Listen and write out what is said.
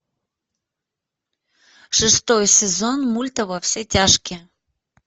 шестой сезон мульта во все тяжкие